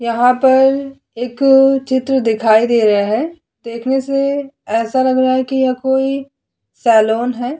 यहाँ पर एक चित्र दिखाई दे रहा है देखने से ऐसा लग रहा है कि यह कोई सैलोन हैं।